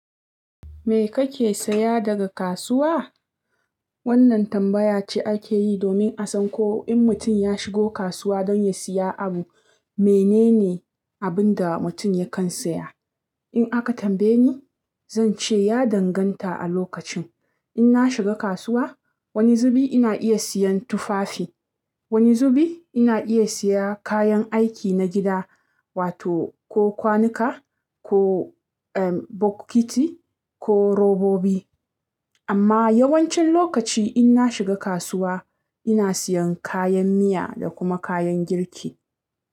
Me kake saya daga kasuwa? Wannan tambaya ce ake yi domin a san ko in mutum ya shigo kasuwa don ya siya abu, menene abin da mutum yakan siya. In aka tambaye ni, zance ya danganta a lokacin. In na shiga kasuwa, wani zubi ina iya siyan tufafi, wani zubi ina iya siya kayan aiki na gida wato ko kwanuka, ko bucket ko robobi. Amma yawancin lokaci in na shiga kasuwa, ina siyan kayan miya da kuma kayan girki.